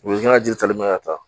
U ye n ka jiri tali mɛn ka taa